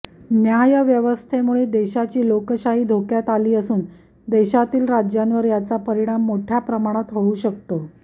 न्यायव्यवस्थेमुळे देशाची लोकशाही धोक्यात आली असून देशातील राज्यांवर याचा परीमाण मोठय़ा प्रमाणात होऊ शकतो